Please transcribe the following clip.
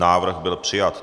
Návrh byl přijat.